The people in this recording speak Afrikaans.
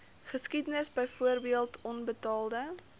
geskiedenis byvoorbeeld onbetaalde